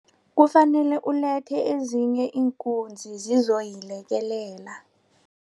Kufanele ulethe ezinye iinkunzi zizoyilekelela.